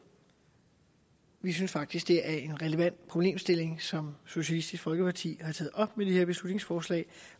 vi synes faktisk det er en relevant problemstilling som socialistisk folkeparti har taget op med det her beslutningsforslag